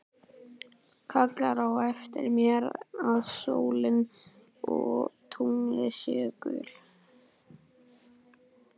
Kallar á eftir mér að sólin og tunglið séu gull.